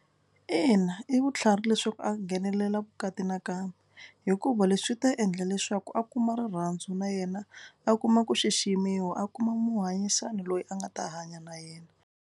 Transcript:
Ina i vutlhari leswaku a nghenelela vukati na kambe hikuva leswi swi ta endla leswaku a kuma rirhandzu na yena a kuma ku xiximiwa a kuma muhanyisani loyi a nga ta hanya na yena.